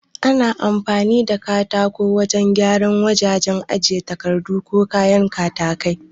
Ana amfani da katako wajan gyara wajajen ajiye takardu ko kayan katakai